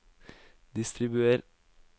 distribuer